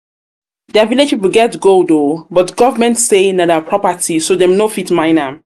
dia village people get gold oo but government say na dia property so dem no fit mine am